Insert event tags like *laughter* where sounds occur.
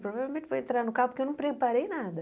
Provavelmente vou entrar no *unintelligible* porque eu não preparei nada.